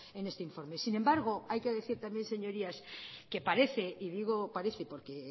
en este informe sin embargo hay que decir también señorías que parece y digo parece porque